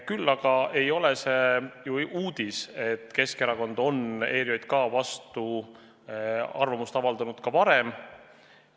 Küll aga ei ole uudis, et Keskerakond on ERJK vastu arvamust avaldanud ka varem.